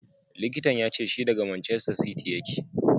Likitan ya ce shi daga Manchester City yake.